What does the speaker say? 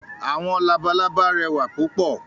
“Àwọn labalábá"rẹwà púpọ̀.